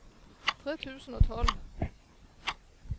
tre tusen og tolv